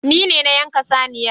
Nine na yanka saniyar